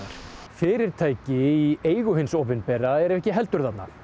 fyrirtæki í eigu hins opinbera eru ekki heldur þarna